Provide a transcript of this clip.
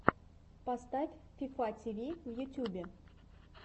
поставь фифа ти ви в ютубе